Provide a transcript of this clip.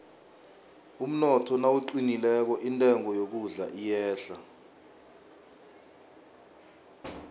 umnotho nawuqinileko intengo yokudla iyehla